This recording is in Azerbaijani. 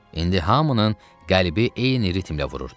İndi hamının qəlbi eyni ritmlə vururdu.